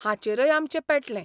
हाचेरय आमचें पेटलें.